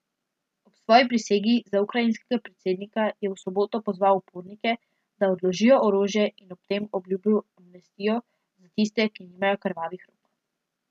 Ob svoji prisegi za ukrajinskega predsednika je v soboto pozval upornike, da odložijo orožje in ob tem obljubil amnestijo za tiste, ki nimajo krvavih rok.